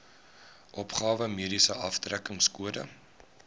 opgawe mediese aftrekkingskode